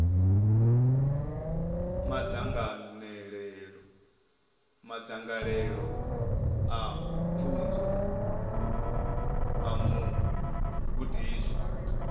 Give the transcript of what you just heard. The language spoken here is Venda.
madzangalelo a pfunzo a mugudiswa